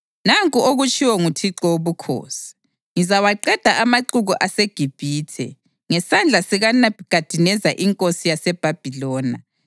Nanku okutshiwo nguThixo Wobukhosi: Ngizawaqeda amaxuku aseGibhithe ngesandla sikaNebhukhadineza inkosi yaseBhabhiloni.